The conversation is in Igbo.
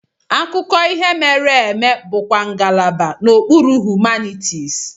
Akụkọ ihe mere eme bụkwa ngalaba n'okpuru Humanities.